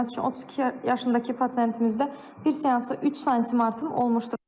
Məsəl üçün 32 yaşındakı pasientimizdə bir seansa 3 sm artım olmuşdur.